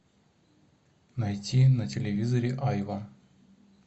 найти на телевизоре айва